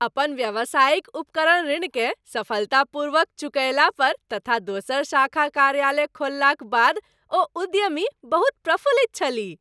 अपन व्यावसायिक उपकरण ऋणकेँ सफलतापूर्वक चुकयला पर तथा दोसर शाखा कार्यालय खोललाक बाद ओ उद्यमी बहुत प्रफुल्लित छलीह।